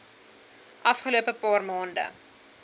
afgelope paar maande